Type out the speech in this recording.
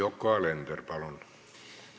Yoko Alender, palun!